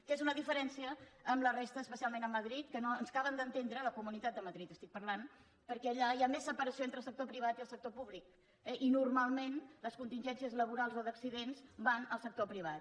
que és una diferència amb la resta especialment amb madrid que no ens acaben d’entendre de la comunitat de madrid estic parlant perquè allà hi ha més separació entre el sector privat i el sector públic eh i normalment les contingències laborals o d’accidents van al sector privat